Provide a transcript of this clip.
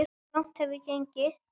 Langt hef ég gengið.